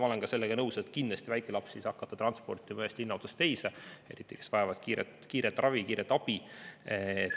Ma olen ka sellega nõus, et kindlasti väikelapsi, neid, kes vajavad kiiret ravi, kiiret abi, ei saa hakata transportima ühest linna otsast teise.